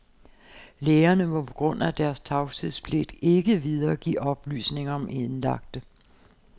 Lægerne må på grund af deres tavshedspligt ikke videregive oplysninger om indlagte.